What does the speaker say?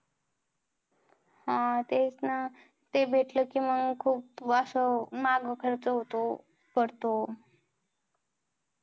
हा तेच ना ते भेटलं कि मग खूप असं माग खर्च होतो पडतो